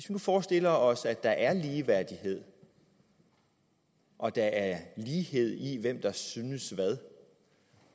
nu forestiller os at der er ligeværdighed og der er lighed i hvem der synes hvad